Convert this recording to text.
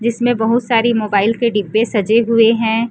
जिसमें बहुत सारी मोबाइल के डिब्बे सजे हुए हैं।